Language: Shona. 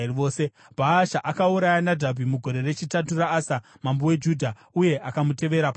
Bhaasha akauraya Nadhabhi mugore rechitatu raAsa, mambo weJudha, uye akamutevera paumambo.